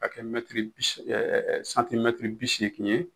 k'a kɛ mɛtiri bi se ɛ ɛ santimɛtiri bisegin ye